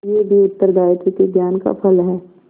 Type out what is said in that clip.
यह भी उत्तरदायित्व के ज्ञान का फल है